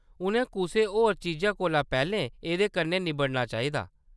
उʼनें कुसै होर चीजा कोला पैह्‌‌‌लें एह्‌‌‌दे कन्नै निब्बड़ना चाहिदा।